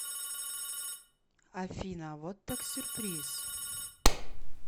афина вот так сюрприз